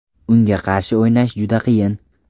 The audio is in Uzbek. Unga qarshi o‘ynash juda qiyin.